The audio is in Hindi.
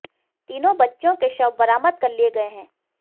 तीनों बच्चियों के शव बरामद कर लिए गए हैं